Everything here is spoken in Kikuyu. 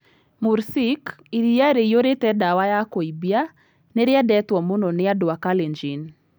Mursik, iria rĩiyũrĩte ndawa ya kũimbia, nĩ rĩendetwo mũno nĩ andũ a Kalenjin.